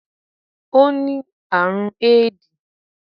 O ni àrùn éédì